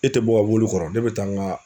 E tɛ bɔ mobili kɔrɔ ne bɛ taa n ka